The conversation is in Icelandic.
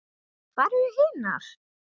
Hvar eru hinar?